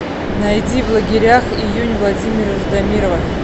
найди в лагерях июнь владимира ждамирова